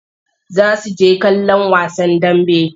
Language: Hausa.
Za su je kallon wasan dambe.